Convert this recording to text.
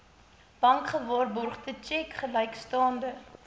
bankgewaarborgde tjek gelykstaande